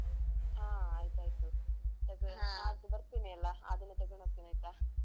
ಅಹ್ ಆಯ್ತ್ ಆಯ್ತು. ನಾಳ್ಳುದು ಬರ್ತೀನಿ ಅಲ್ಲ ಆ ದಿನ ತೆಗೊಂಡು ಹೋಗ್ತೀನಿ ಆಯ್ತಾ.